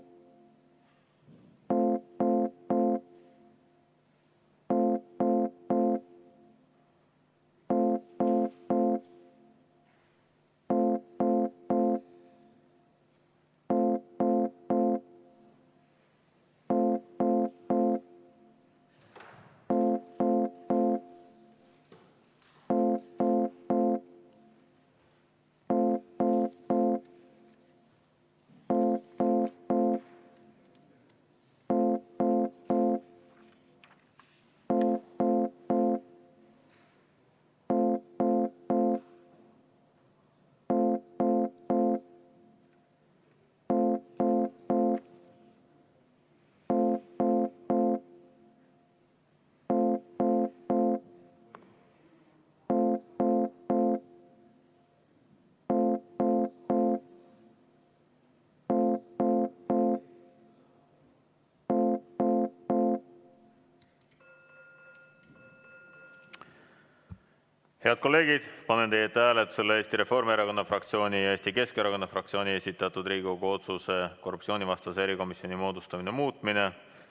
Head kolleegid, panen teie ette hääletusele Eesti Reformierakonna fraktsiooni ja Eesti Keskerakonna fraktsiooni esitatud Riigikogu otsuse "Riigikogu otsuse "Korruptsioonivastase erikomisjoni moodustamine" muutmine".